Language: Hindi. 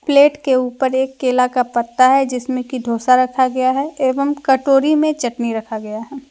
प्लेट के ऊपर एक केला का पत्ता है जिसमें कि डोसा रखा गया है एवं कटोरी मे चटनी रखा गया है।